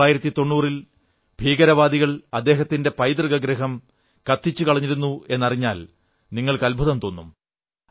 1990 ൽ ഭീകരവാദികൾ അദ്ദേഹത്തിന്റെ പൈതൃകഗൃഹം കത്തിച്ചുകളഞ്ഞിരുന്നുവെന്നറിഞ്ഞാൽ നിങ്ങൾക്ക് അത്ഭുതം തോന്നും